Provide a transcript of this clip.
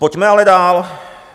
Pojďme ale dál.